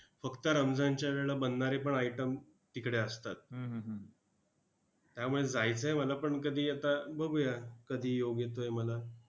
फक्त रमजानच्या वेळेला बनणारे पण item तिकडे असतात. त्यामुळे जायचं आहे मला पण कधी आता बघूया कधी योग येतोय मला